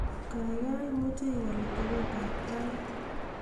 gaigai imuche ewal atebet ab tait